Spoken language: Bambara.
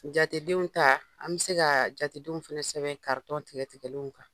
Jatedenw ta an bɛ se ka jatedenw fana sɛbɛn karitɔn tigɛtigɛlenw kan